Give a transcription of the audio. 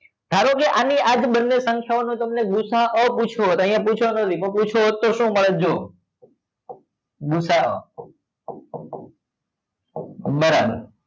ધારોકે આની આ જ બંને સખ્યા ઓ નો તમને ગુ સા અ પૂછ્યો હોત તો અહિયાં પૂછવા નો નો પૂછ્યો હોત તો શું મળત જો ગુ સ અ બરાબર